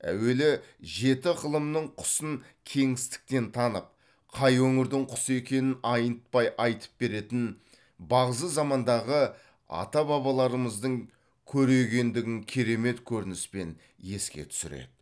әуелі жеті ықылымның құсын кеңістіктен танып қай өңірдің құсы екенін айнытпай айтып беретін бағзы замандағы ата бабаларымыздың көрегендігін керемет көрініспен еске түсіреді